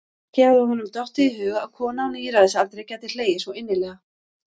Ekki hafði honum dottið í hug að kona á níræðisaldri gæti hlegið svo innilega.